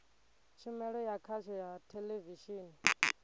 tshumelo ya khasho ya theḽevishini